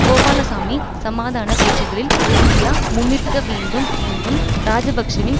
கோபாலசாமி சமாதான பேச்சுக்களில் இந்தியா முன்நிற்க வேண்டும் என்னும் இராஜபக்ஷவின்